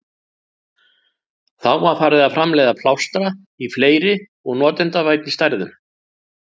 Þá var farið að framleiða plástra í fleiri og notendavænni stærðum.